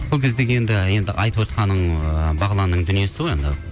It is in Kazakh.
сол кездегі енді айтып отырғаның ыыы бағыланның дүниесі ғой енді